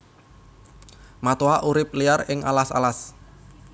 Matoa urip liar ing alas alas